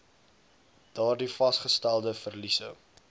daardie vasgestelde verliese